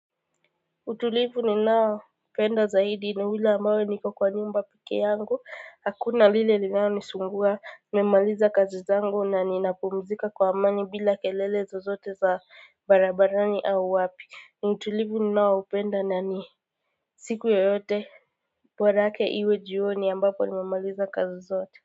Utulivu ninaoupenda zaidi ni ule ambao niko kwa nyumba pekee yangu hakuna lile linalonisumbua nimemaliza kazi zangu na ninapumzika kwa amani bila kelele zozote za barabarani au wapi ni utulivu ninaoupenda na ni siku yoyote borake iwe jioni ambapo nimemaliza kazi zote.